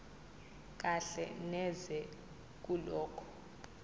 kahle neze kulokho